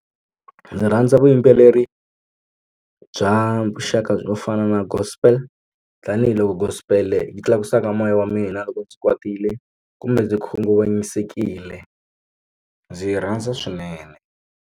Ndzi rhandza vuyimbeleri bya vuxaka byo fana na gospel tanihiloko gospel yi tlakusaka moya wa mina loko ndzi kwatile kumbe ndzi khunguvanyisekile ndzi yi rhandza swinene.